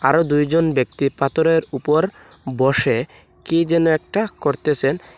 আরও দুইজন ব্যক্তি পাথরের উপর বসে কি যেন একটা করতেসেন।